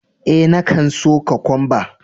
Eh, na kan so Kokwamba.